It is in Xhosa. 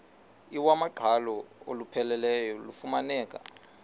iwamaqhalo olupheleleyo lufumaneka